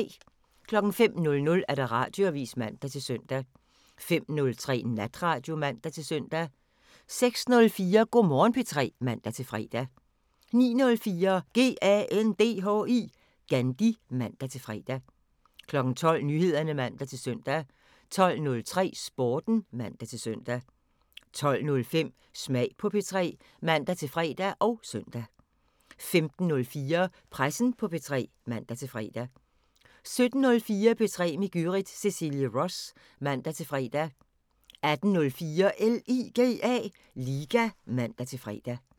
05:00: Radioavisen (man-søn) 05:03: Natradio (man-søn) 06:04: Go' Morgen P3 (man-fre) 09:04: GANDHI (man-fre) 12:00: Nyheder (man-søn) 12:03: Sporten (man-søn) 12:05: Smag på P3 (man-fre og søn) 15:04: Pressen på P3 (man-fre) 17:04: P3 med Gyrith Cecilie Ross (man-fre) 18:04: LIGA (man-fre)